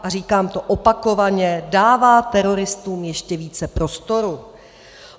a říkám to opakovaně - dává teroristům ještě více prostoru.